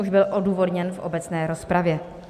Už byl odůvodněn v obecné rozpravě.